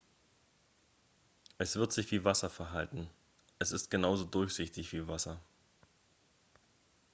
"""es wird sich wie wasser verhalten. es ist genauso durchsichtig wie wasser.